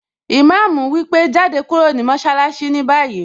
Ìmáàmù wípé 'Jáde kúrò ní mọṣálásí ní báyìí!